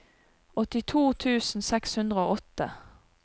åttito tusen seks hundre og åtte